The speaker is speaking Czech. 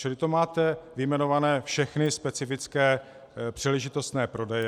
Čili to máte vyjmenované všechny specifické příležitostné prodeje.